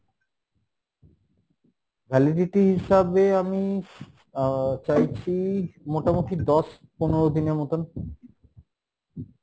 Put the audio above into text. validity হিসাবে আমি আহ চাইছি মোটামটি দশ পনেরো দিনের মতন